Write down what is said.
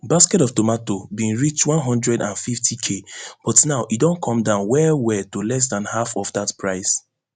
basket of tomato bin reach one hundred and fiftyk but now e don come down well well to less dan half of dat price